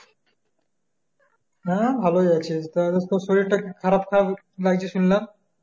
হ্যাঁ ভালো যাচ্ছে তা তোর শরীর টা খারাপ খারাপ লাগছে শুনলাম